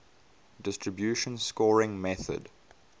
distribution scoring method